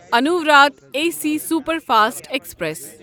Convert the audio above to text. انووراٹھ A C superfast express